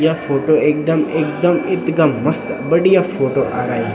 या फोटो एकदम एकदम इथगा मस्त बढ़िया फोटो आरई।